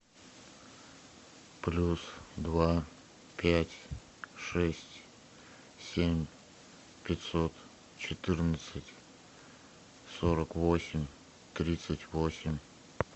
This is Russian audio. плюс два пять шесть семь пятьсот четырнадцать сорок восемь тридцать восемь